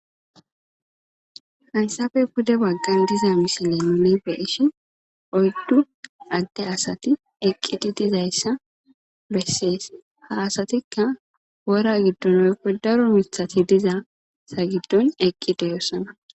Haysape pude bagan diza missilezan nu be'ishin oydu ade asati eqidi de'izaysa beses ha asatika wora gidon daro mitati diza matata gidon eqi de'osona.